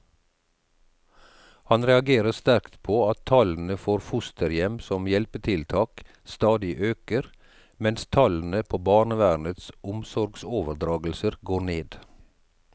Han reagerer sterkt på at tallene for fosterhjem som hjelpetiltak stadig øker, mens tallene på barnevernets omsorgsoverdragelser går ned.